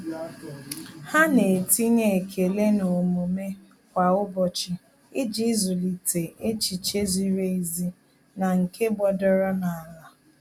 Há nà-etinye ekele n'omume kwa ụ́bọ̀chị̀ iji zụ́líté echiche ziri ezi na nke gbọ́dọ́rọ́ n’álá.